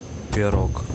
пирог